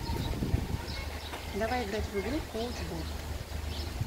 давай играть в игру коуч бот